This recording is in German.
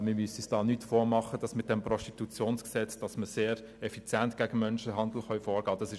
Wir müssen uns nicht vormachen, dass man mit dem PGG sehr effizient gegen den Menschenhandel vorgehen kann.